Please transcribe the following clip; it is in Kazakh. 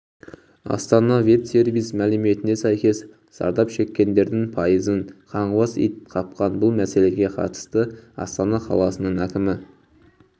астана ветсервис мәліметіне сәйкес зардап шекккендердің пайызын қаңғыбас ит қапқан бұл мәселеге қатысты астана қаласының әкімі